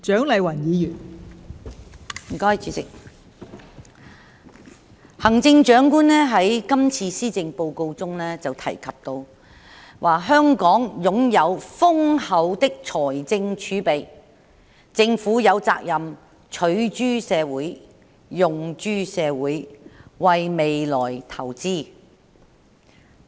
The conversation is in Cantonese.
代理主席，行政長官在今次施政報告中提到"香港擁有豐厚的財政儲備，政府有責任取諸社會，用諸社會，為未來投資"。